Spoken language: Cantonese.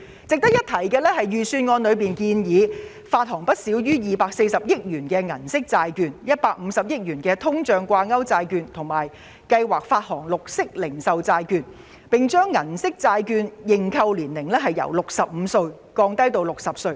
值得一提的是，預算案建議發行不少於240億元銀色債券及150億元通脹掛鈎債券，並且計劃發行綠色零售債券，又把銀色債券的認購年齡由65歲降低至60歲。